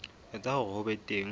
etsa hore ho be teng